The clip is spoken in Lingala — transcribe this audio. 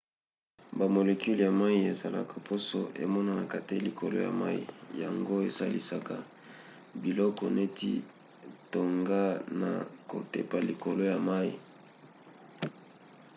bamolecule ya mai esalaka poso emonanaka te likolo ya mai yango esalisaka biloko neti tonga na kotepa likolo ya mai